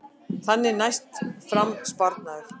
Þannig næst fram sparnaður